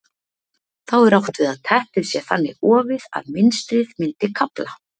þá er átt við að teppið sé þannig ofið að mynstrið myndi kafla